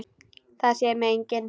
Það sér mig enginn.